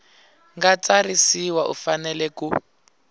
nga tsarisiwa u fanele ku